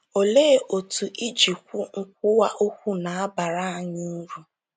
Olee otú ijikwu nkwuwa okwu na-abara anyị uru?